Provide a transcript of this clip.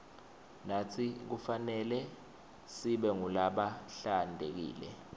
natsi kufanelesibe ngulabahlantekile